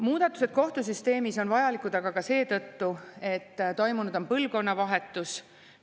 Muudatused kohtusüsteemis on vajalikud aga ka seetõttu, et toimunud on põlvkonnavahetus.